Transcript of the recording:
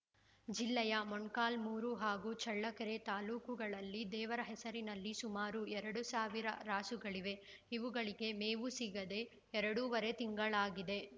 ಜಿಲ್ಲೆಯ ಮೊಣಕಾಲ್ಮುರು ಹಾಗೂ ಚಳ್ಳಕೆರೆ ತಾಲೂಕುಗಳಲ್ಲಿ ದೇವರ ಹೆಸರಿನಲ್ಲಿ ಸುಮಾರು ಎರಡು ಸಾವಿರ ರಾಸುಗಳಿವೆ ಇವುಗಳಿಗೆ ಮೇವು ಸಿಗದೆ ಎರಡೂವರೆ ತಿಂಗಳಾಗಿದೆ